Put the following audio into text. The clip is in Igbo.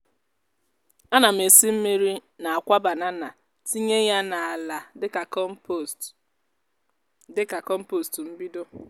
ana m esi mmiri n’akwa banana tinye ya n’ala dịka kọmpost dịka kọmpost mbido.